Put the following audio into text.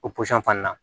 O pɔsɔn fana na